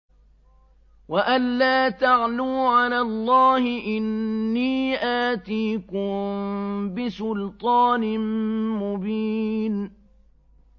وَأَن لَّا تَعْلُوا عَلَى اللَّهِ ۖ إِنِّي آتِيكُم بِسُلْطَانٍ مُّبِينٍ